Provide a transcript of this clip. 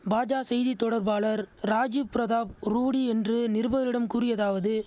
பாஜ செய்தி தொடர்பாளர் ராஜீவ் பிரதாப் ரூடி என்று நிருபர்ரிடம் கூறியதாவது